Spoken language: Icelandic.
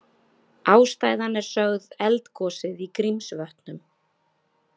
Ástæðan er sögð eldgosið í Grímsvötnum